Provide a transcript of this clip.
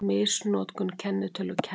Misnotkun kennitölu kærð